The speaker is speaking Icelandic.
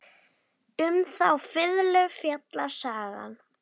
Um þá fiðlu fjallar sagan.